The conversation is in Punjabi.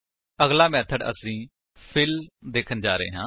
ਅਗਲਾ ਮੇਥਡ ਅਸੀ ਫਿੱਲ ਦੇਖਣ ਜਾ ਰਹੇ ਹਾਂ